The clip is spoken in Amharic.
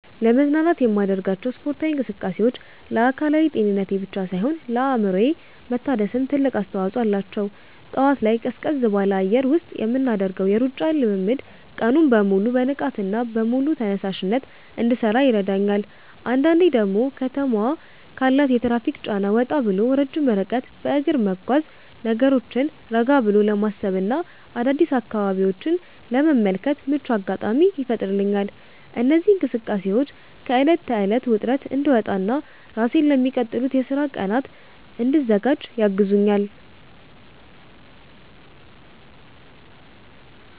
ለመዝናናት የማደርጋቸው ስፖርታዊ እንቅስቃሴዎች ለአካላዊ ጤንነቴ ብቻ ሳይሆን ለአእምሮዬ መታደስም ትልቅ አስተዋጽኦ አላቸው። ጠዋት ላይ ቀዝቀዝ ባለ አየር ውስጥ የምናደርገው የሩጫ ልምምድ ቀኑን በሙሉ በንቃትና በሙሉ ተነሳሽነት እንድሠራ ይረዳኛል። አንዳንዴ ደግሞ ከተማዋ ካላት የትራፊክ ጫና ወጣ ብሎ ረጅም ርቀት በእግር መጓዝ፣ ነገሮችን ረጋ ብሎ ለማሰብና አዳዲስ አካባቢዎችን ለመመልከት ምቹ አጋጣሚ ይፈጥርልኛል። እነዚህ እንቅስቃሴዎች ከዕለት ተዕለት ውጥረት እንድወጣና ራሴን ለሚቀጥሉት የሥራ ቀናት እንድዘጋጅ ያግዙኛል።